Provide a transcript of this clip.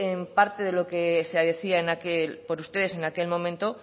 en parte de lo que se decía por ustedes en aquel momento